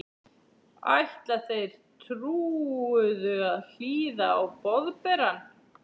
Ætla þeir trúuðu að hlýða á Boðberann?